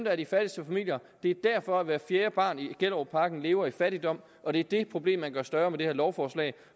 er de fattigste familier det er derfor at hvert fjerde barn i gellerupparken lever i fattigdom og det er det problem man gør større med det her lovforslag